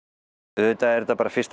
auðvitað er þetta bara fyrst og